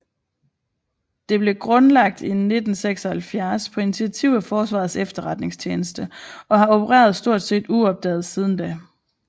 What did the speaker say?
Det blev grundlagt i 1976 på initiativ af Forsvarets Efterretningstjeneste og har opereret stort set uopdaget siden da